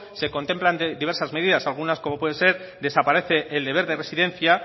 se contemplan diversas medidas algunas como pueden ser desaparece el deber de residencia